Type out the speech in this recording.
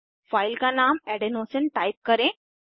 file का नाम adenosine type करें